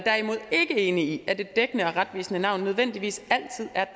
enig i at et dækkende og retvisende navn nødvendigvis altid er